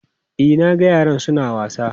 E, na ga yaran su na wasa.